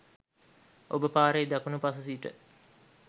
ඔබ පාරේ දකුනු පස සිට